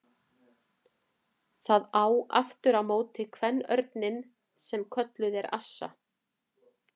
Það á aftur á móti kvenörninn sem kölluð er assa.